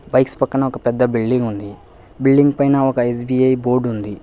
bikes పక్కన ఒక పెద్ద బిల్డింగ్ ఉంది బిల్డింగ్ పైన ఒక ఎస్_బి_ఐ బోర్డ్ ఉంది